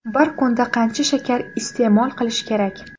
Bir kunda qancha shakar iste’mol qilish kerak?.